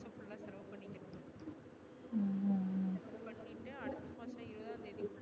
பண்ணிட்டு அடுத்து மாசம் இருபது ஆம் தேதிக்குள்ள